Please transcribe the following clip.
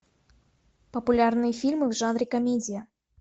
популярные фильмы в жанре комедия